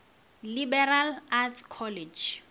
liberal arts college